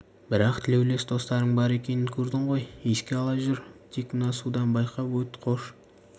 бірақ тілеулес достарың бар екенін көрдің ғой еске ала жүр тек мына судан байқап өт қош